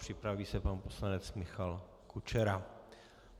Připraví se pan poslanec Michal Kučera.